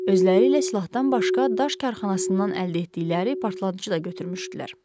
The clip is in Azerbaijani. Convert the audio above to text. Özləri ilə silahdan başqa daş karxanasından əldə etdikləri partlayıcı da götürmüşdülər.